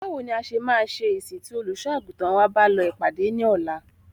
Báwo ní a ṣe máa ṣe ìsìn tí Olùṣọ́-àgùntàn wa bá lọ ìpàdé ní ọ̀la?